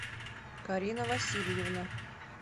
карина васильевна